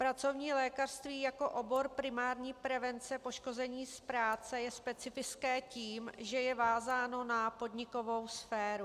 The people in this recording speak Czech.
Pracovní lékařství jako obor primární prevence poškození z práce je specifické tím, že je vázáno na podnikovou sféru.